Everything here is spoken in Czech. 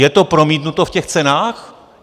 Je to promítnuto v těch cenách?